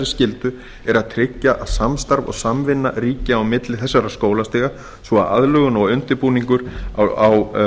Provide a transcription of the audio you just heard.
skyldu er að tryggja að samstarf og samvinna ríki á milli þessara skólastiga svo að aðlögun og